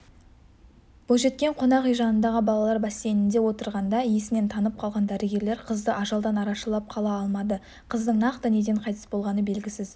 бойжеткен қонақүй жанындағы балалар бассейнінде отырғанда есінен танып қалған дәрігерлер қызды ажалдан арашалап қала алмады қыздың нақты неден қайтыс болғаны белгісіз